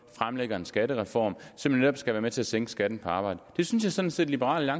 fremlægger en skattereform som netop skal være med til at sænke skatten på arbejde det synes jeg sådan set at liberal